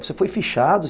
Você foi fichado?